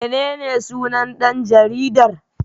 Menene sunan dan jaridar?